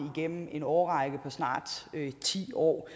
igennem en årrække på snart ti år